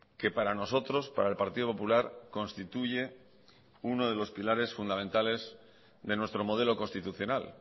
que para nosotros para el partido popular constituye uno de los pilares fundamentales de nuestro modelo constitucional